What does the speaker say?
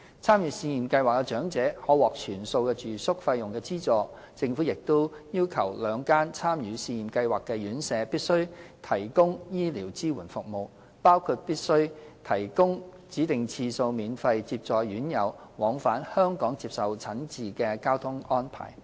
參與試驗計劃的長者可獲全數住宿費用資助，政府亦要求兩間參與試驗計劃的院舍必須提供醫療支援服務，包括必須提供指定次數免費接載院友往返香港接受診治的交通安排。